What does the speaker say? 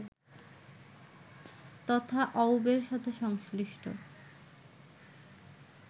তথা অউবের সাথে সংশ্লিষ্ট